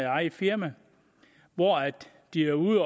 eget firma hvor de er ude